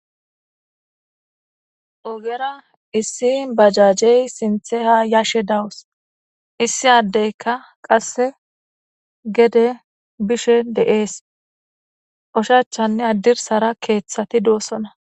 ogera issi bajajey sinthe ha yashe dawus issi addeyka qasse gede bishe de7es oshachanne addirsara keeththati doossona